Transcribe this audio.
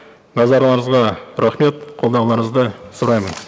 назарларыңызға рахмет қолдауларыңызды сұраймын